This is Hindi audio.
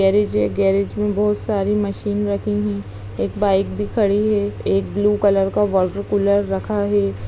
गैरेज में बहोत सारी मशीन रखी हैं। एक बाइक भी खड़ी है। एक ब्लू कलर का वॉटरकूलर रखा है।